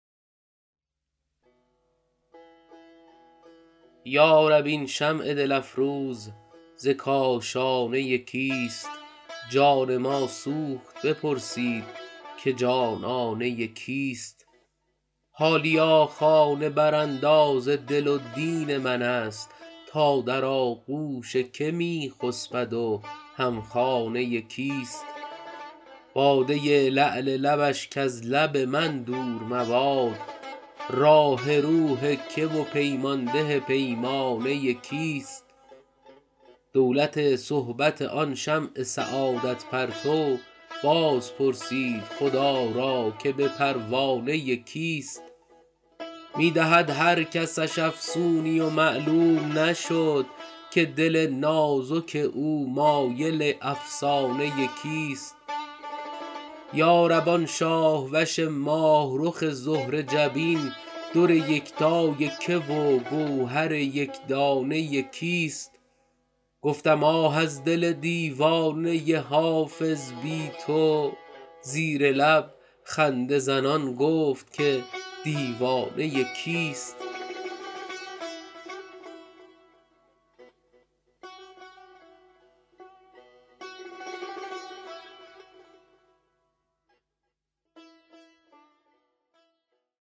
یا رب این شمع دل افروز ز کاشانه کیست جان ما سوخت بپرسید که جانانه کیست حالیا خانه برانداز دل و دین من است تا در آغوش که می خسبد و هم خانه کیست باده لعل لبش کز لب من دور مباد راح روح که و پیمان ده پیمانه کیست دولت صحبت آن شمع سعادت پرتو باز پرسید خدا را که به پروانه کیست می دهد هر کسش افسونی و معلوم نشد که دل نازک او مایل افسانه کیست یا رب آن شاه وش ماه رخ زهره جبین در یکتای که و گوهر یک دانه کیست گفتم آه از دل دیوانه حافظ بی تو زیر لب خنده زنان گفت که دیوانه کیست